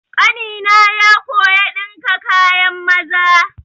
Ƙanina ya koya ɗinka kayan maza.